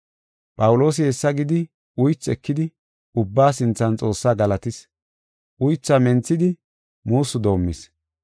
Phawuloosi hessa gidi uythi ekidi ubbaa sinthan Xoossaa galatis; uythaa menthidi muussu doomis.